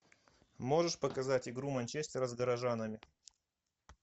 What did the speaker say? можешь показать игру манчестера с горожанами